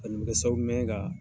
A kɔni mi kɛ sababu ɲuman ye ka